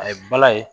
A ye bala ye